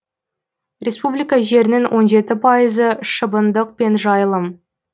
республика жерінің он жеті пайызы шыбындық пен жайылым